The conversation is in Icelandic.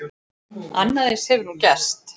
Annað eins hefur nú gerst.